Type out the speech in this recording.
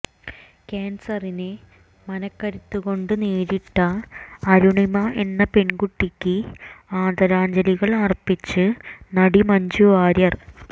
കാൻസറിനെ മനക്കരുത്ത് കൊണ്ട് നേരിട്ട അരുണിമ എന്ന പെൺകുട്ടിക്ക് ആദരാഞ്ജലികൾ ആർപ്പിച്ച് നടി മഞ്ജു വാര്യർ